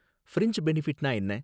Fringe பெனிஃபிட்னா என்ன?